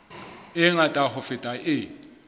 e ngata ho feta e